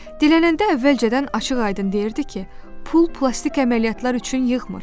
Dilənəndə əvvəlcədən açıq-aydın deyirdi ki, pul plastik əməliyyatlar üçün yığmır.